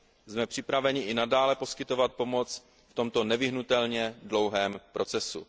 Jsme připraveni i nadále poskytovat pomoc v tomto nevyhnutelně dlouhém procesu.